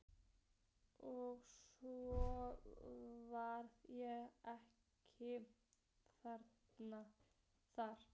Og svo var ég ekki þar.